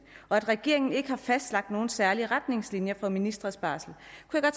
regeringen ikke har fastlagt nogen særlige retningslinjer for ministres barsel